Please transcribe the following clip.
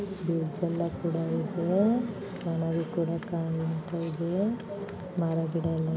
ಇದು ಜಲ ಕೂಡಾ ಇದೆ ಚೆನ್ನಾಗಿ ಕೂಡಾ ಕಾಣ್ತಾ ಇದೆ ಮರ ಗಿಡ ಎಲ್ಲಾ--